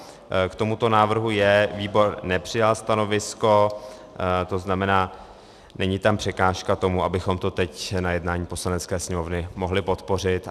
K tomuto návrhu J výbor nepřijal stanovisko, to znamená, není tam překážka tomu, abychom to teď na jednání Poslanecké sněmovny mohli podpořit.